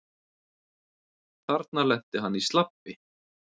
Þarna lenti hann í slabbi.